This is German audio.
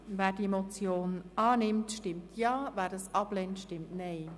Wer die Motion annimmt, stimmt Ja, wer diese ablehnt, stimmt Nein.